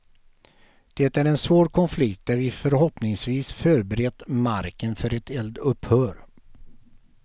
Det är en svår konflikt där vi förhoppningsvis förberett marken för ett eldupphör.